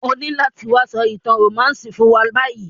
O nílo láti wa so ìtàn romantic fún wa bayi